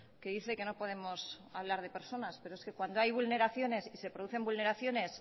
que dice que no podemos hablar de personas pero es que cuando hay vulneraciones y se producen vulneraciones